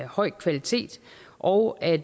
høj kvalitet og at